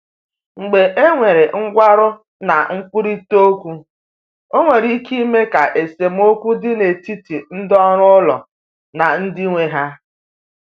Mgbe e nwere nkwarụ na nkwurịta okwu, ọ nwere ike ime ka esemokwu dị n’etiti ndị ọrụ ụlọ na ndị nwe ha.